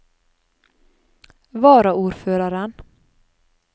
varaordføreren